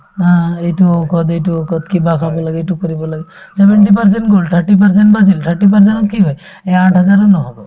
অ, এইটো ঔষধ সেইটো ঔষধ কিবা খাব লাগে এইটো কৰিব লাগে seventy percent গল thirty percent বাচিল thirty percent ত কি হয় এই আঠ হাজাৰে নহব